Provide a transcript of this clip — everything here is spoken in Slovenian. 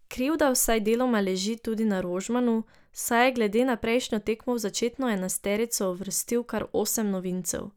Krivda vsaj deloma leži tudi na Rožmanu, saj je glede na prejšnjo tekmo v začetno enajsterico uvrstil kar osem novincev.